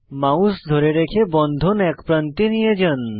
mouse ধরে রেখে বন্ধন এক প্রান্তে নিয়ে যান